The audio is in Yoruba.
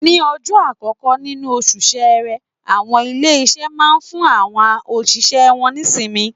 Ní ọjọ́ àkọ́kọ́ nínú oṣù Ṣẹẹrẹ, àwọn ilé-iṣẹ́ máa ń fún àwọn òṣìṣẹ́ wọn ní ìsinmi.